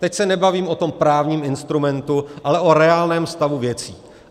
Teď se nebavím o tom právním instrumentu, ale o reálném stavu věcí.